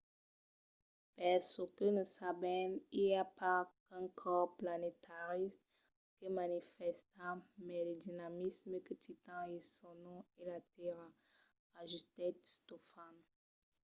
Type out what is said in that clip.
per çò que ne sabèm i a pas qu’un còrs planetari que manifèsta mai de dinamisme que titan e son nom es la tèrra, ajustèt stofan